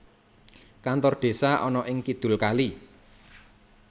Kantor Desa ana ing kidul kali